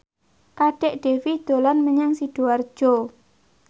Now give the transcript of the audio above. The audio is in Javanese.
Kadek Devi dolan menyang Sidoarjo